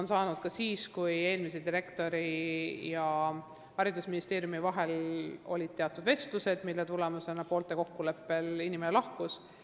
Ta sai hakkama ka siis, kui eelmise direktori ja haridusministeeriumi vahel olid teatud vestlused, mille tulemusena inimene poolte kokkuleppel lahkus.